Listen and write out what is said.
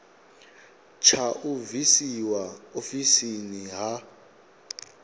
tsha u bvisiwa ofisini ha